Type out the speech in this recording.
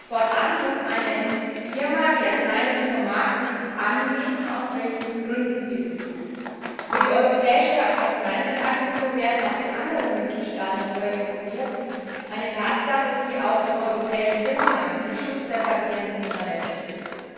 Fortan muss eine Firma, die Arzneimittel vom Markt nimmt, angeben, aus welchen Gründen sie dies tut. Über die Europäische Arzneimittelagentur werden auch die anderen Mitgliedstaaten darüber informiert eine Tatsache, die auch im europäischen Binnenmarkt zum Schutz der Patienten unerlässlich ist.